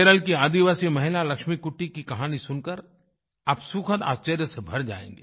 केरल की आदिवासी महिला लक्ष्मीकुट्टी की कहानी सुनकर आप सुखद आश्चर्य से भर जायेंगे